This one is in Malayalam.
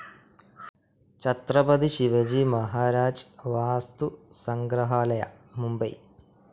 ഛത്രപതി ശിവജി മഹാരാജ് വാസ്തു സംഗ്രഹാലയ, മുംബൈ